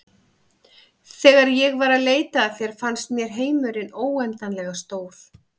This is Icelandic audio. Þegar ég var að leita að þér fannst mér heimurinn óendanlega stór.